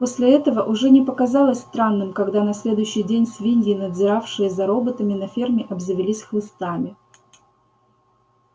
после этого уже не показалось странным когда на следующий день свиньи надзиравшие за работами на ферме обзавелись хлыстами